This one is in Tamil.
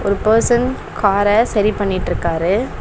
ஒரு பர்சன் கார சரி பண்ணிட்ருக்காரு.